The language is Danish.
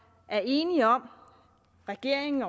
er enige om regeringen